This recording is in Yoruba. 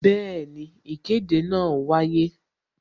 Bẹẹni, ìkéde náà wáyé